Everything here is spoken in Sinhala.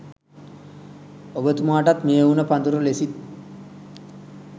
ඔබතුමාටත් මේ උණ පඳුර ලෙසින්